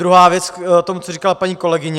Druhá věc k tomu, co říkala paní kolegyně.